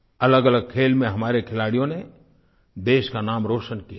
अलगअलग खेल में हमारे खिलाड़ियों ने देश का नाम रोशन किया है